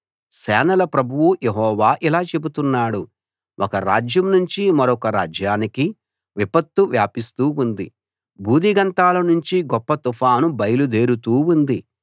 సేనల ప్రభువు యెహోవా ఇలా చెబుతున్నాడు ఒక రాజ్యం నుంచి మరొక రాజ్యానికి విపత్తు వ్యాపిస్తూ ఉంది భూదిగంతాల నుంచి గొప్ప తుఫాను బయలుదేరుతూ ఉంది